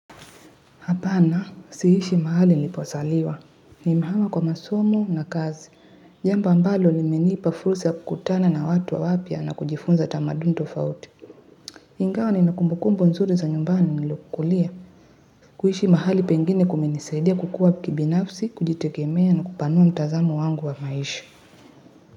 Hapana, siishi mahali nilipozaliwa. Nimehama kwa masomo na kazi. Jambo ambalo limenipa fursi ya kukutana na watu wa wapya na kujifunza tamaduni tofauti. Ingawa ninakumbukumbu nzuri za nyumbani nilikokulia. Kuishi mahali pengine kumenisaidia kukua kibinafsi, kujitegemea na kupanua mtazamo wangu wa maisha.